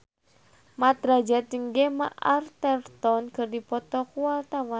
Mat Drajat jeung Gemma Arterton keur dipoto ku wartawan